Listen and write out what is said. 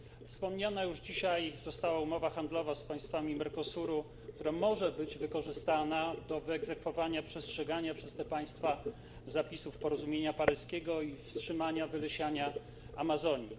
Wspomniana już dzisiaj została umowa handlowa z państwami Mercosuru, która może być wykorzystana do wyegzekwowania przestrzegania przez te państwa zapisów porozumienia paryskiego i wstrzymania wylesiania Amazonii.